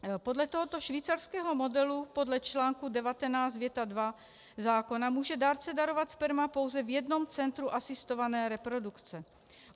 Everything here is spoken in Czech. Podle tohoto švýcarského modelu podle čl. 19 věta 2 zákona může dárce darovat sperma pouze v jednom centru asistované reprodukce.